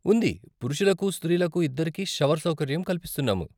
ఉంది, పురుషలకు, స్త్రీలకూ ఇద్దరికీ షవర్ సౌకర్యం కల్పిస్తున్నాము.